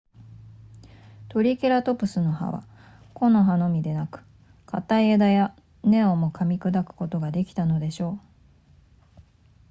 トリケラトプスの歯は木の葉のみでなく硬い枝や根をも噛み砕くことができたのでしょう